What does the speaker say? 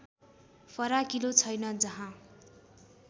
फराकिलो छैन जहाँ